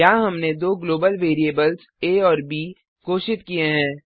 यहाँ हमने दो ग्लोबल वेरिएबल्स आ और ब घोषित किये हैं